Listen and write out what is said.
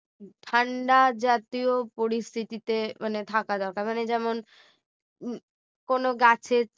ঠান্ডা জাতীয় পরিস্থিতিতে মানে থাকা দরকার মানে যেমন হম কোনো গাছের